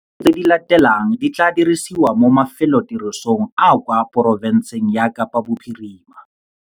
Dithuso tse di latelang di tla dirisiwa mo mafelotirisong a kwa porofenseng ya Kapa Bophirima.